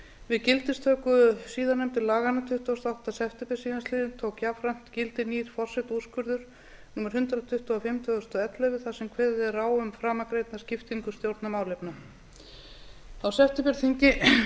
við gildistöku síðarnefndu laganna tuttugasta og áttunda september síðastliðinn tók jafnframt gildi nýr forsetaúrskurður númer hundrað tuttugu og fimm tvö þúsund og ellefu þar sem kveðið er á um framangreinda skiptingu stjórnarmálefna á septemberþingi